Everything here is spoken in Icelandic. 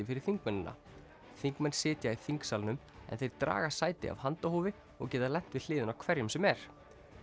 fyrir þingmennina þingmenn sitja í þingsalnum en þeir draga sæti af handahófi og geta lent við hliðina á hverjum sem er